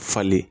Falen